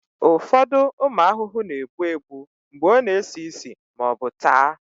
ụfọdụ ụmụ ahụhụ na-egbu egbu mgbe ọ na-esi ísì ma ọ bụ taa